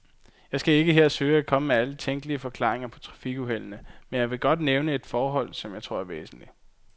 Jeg skal ikke her søge at komme med alle tænkelige forklaringer på trafikuheldene, men jeg vil godt nævne et forhold, som jeg tror er væsentligt.